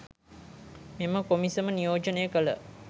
මෙම කොමිසම නියෝජනය කළ